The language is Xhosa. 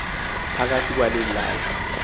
phakathi kwale lali